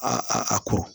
A a ko